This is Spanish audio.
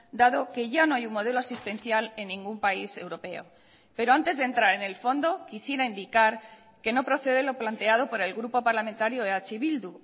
dado que ya no hay un modelo asistencial en ningún país europeo pero antes de entrar en el fondo quisiera indicar que no procede lo planteado por el grupo parlamentario eh bildu